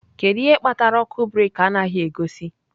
Kedu ihe kpatara ọkụ breeki anaghị egosi?